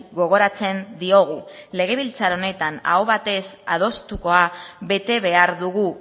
gogoratzen diogu legebiltzar honetan aho batez adostukoa bete behar dugu